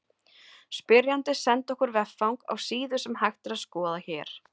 Spyrjandi sendi okkur veffang á síðu sem hægt er að skoða hér.